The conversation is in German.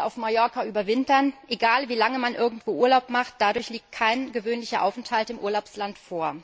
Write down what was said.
auf Mallorca überwintern, müssen keine Angst haben Egal wie lange man irgendwo Urlaub macht dadurch liegt kein gewöhnlicher Aufenthalt im Urlaubsland vor.